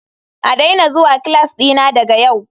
A daina zuwa class dina daga yau.